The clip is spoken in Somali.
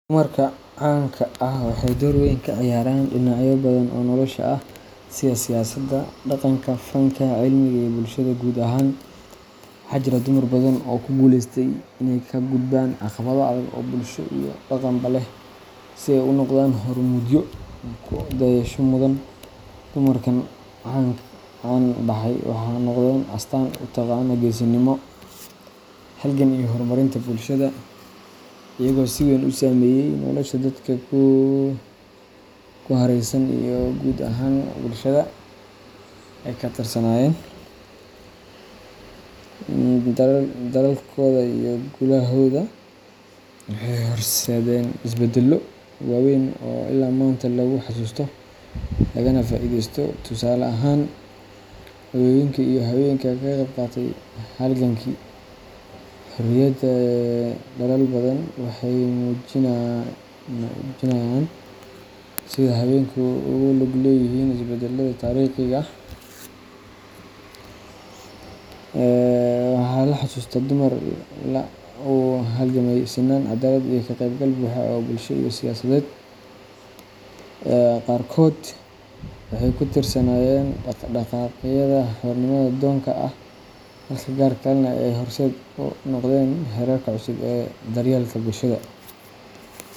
Dumarka caanka ah waxay door weyn ka ciyaareen dhinacyo badan oo nolosha ah sida siyaasadda, dhaqanka, fanka, cilmiga, iyo bulshada guud ahaan. Waxaa jira dumar badan oo ku guuleystay inay ka gudbaan caqabado adag oo bulsho iyo dhaqanba leh, si ay u noqdaan hormuudyo ku dayasho mudan. Dumarkan caan baxay waxay noqdeen astaan u taagan geesinimo, halgan, iyo horumarinta bulshada, iyagoo si weyn u saameeyay nolosha dadka ku hareeraysan iyo guud ahaan bulshada ay ka tirsanaayeen. Dadaalkooda iyo guulahooda waxay horseedeen isbeddello waaweyn oo illaa maanta lagu xasuusto, lagana faa’iidaysto. Tusaale ahaan, hooyooyinka iyo haweenka ka qeyb qaatay halgankii xorriyadda ee dalal badan waxay muujinayaan sida haweenku ugu lug leeyihiin isbeddelada taariikhiga ah. Waxaa la xasuustaa dumar u halgamay sinnaan, cadaalad, iyo ka qeybgal buuxa oo bulsho iyo siyaasadeed. Qaarkood waxay ka tirsanaayeen dhaqdhaqaaqyada xornimo-doonka ah, halka qaar kalena ay horseed u noqdeen xeerarka cusub ee daryeelka bulshada.